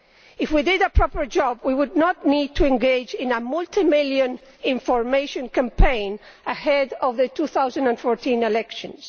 If we did a proper job we would not need to engage in a multi million information campaign ahead of the 2014 elections.